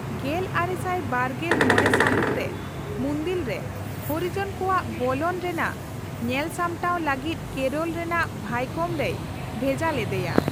ᱜᱮᱞ ᱟᱨᱮ ᱥᱟᱭ ᱵᱟᱨᱜᱮᱞ ᱢᱚᱲᱮ ᱥᱟᱦᱤᱴ ᱨᱮ, ᱢᱩᱱᱫᱤᱞ ᱨᱮ ᱦᱚᱨᱤᱡᱚᱱᱠᱚᱟᱜ ᱵᱚᱞᱚᱱ ᱨᱮᱱᱟᱜ ᱧᱮᱞᱥᱟᱢᱴᱟ ᱞᱟᱹᱜᱤᱫ ᱠᱮᱨᱚᱞ ᱨᱮᱱᱟᱜ ᱵᱷᱟᱭᱠᱚᱢ ᱨᱮᱭ ᱵᱷᱦᱮᱡᱟ ᱞᱮᱫᱮᱭᱟ ᱾